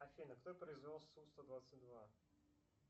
афина кто произвел су сто двадцать два